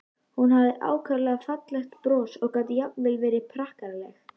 Hún hafði ákaflega fallegt bros og gat jafnvel verið prakkaraleg.